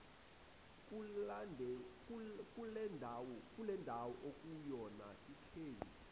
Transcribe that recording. kulendawo okuyona lkheli